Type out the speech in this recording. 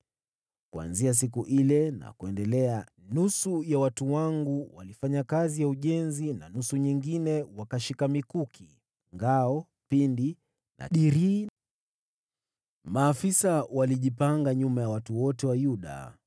Kuanzia siku ile na kuendelea, nusu ya watu wangu walifanya kazi ya ujenzi, na nusu nyingine wakashika mikuki, ngao, pinde na dirii. Maafisa walijipanga nyuma ya watu wote wa Yuda